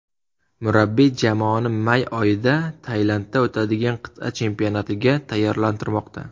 Murabbiy jamoasini may oyida Tailandda o‘tadigan qit’a chempionatiga tayyorlantirmoqda.